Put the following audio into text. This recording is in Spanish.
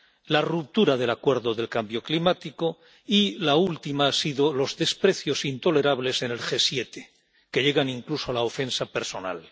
la ruptura del Acuerdo contra el cambio climático y la última han sido los desprecios intolerables en el G 7, que llegan incluso a la ofensa personal.